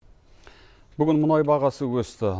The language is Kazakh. бүгін мұнай бағасы өсті